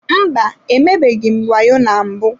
Mba, emebeghị m wayo na mbụ.